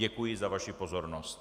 Děkuji za vaši pozornost.